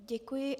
Děkuji.